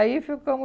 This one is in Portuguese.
Aí ficamos